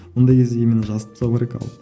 ондай кезде именно жазып тастау керек ал